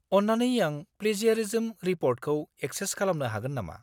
अन्नानै आं प्लेजियारिजम रिपर्टखौ एकसेस खालामनो हागोन नामा?